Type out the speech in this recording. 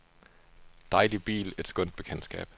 Dejlig bil, et skønt bekendtskab.